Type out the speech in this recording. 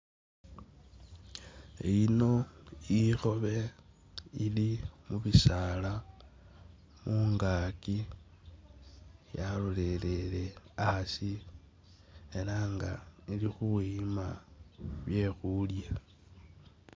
Iyino ikhobe ili mubisala mungaki yalolelele hasi ela nga ili khuyima byekhulya.